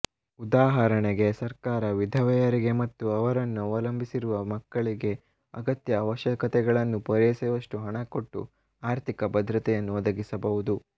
ಉದಾಹರಣೆಗೆ ಸರ್ಕಾರ ವಿಧವೆಯರಿಗೆ ಮತ್ತು ಅವರನ್ನು ಅವಲಂಬಿಸಿರುವ ಮಕ್ಕಳಿಗೆ ಅಗತ್ಯ ಆವಶ್ಯಕತೆಗಳನ್ನು ಪುರೈಸುವಷ್ಟು ಹಣ ಕೊಟ್ಟು ಆರ್ಥಿಕ ಭದ್ರತೆಯನ್ನು ಒದಗಿಸಬಹುದು